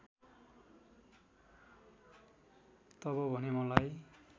तब भने मलाई